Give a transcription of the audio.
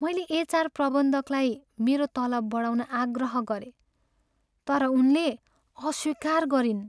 मैले एचआर प्रबन्धकलाई मेरो तलब बढाउन आग्रह गरेँ तर उनले अस्वीकार गरिन्।